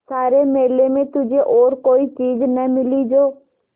सारे मेले में तुझे और कोई चीज़ न मिली जो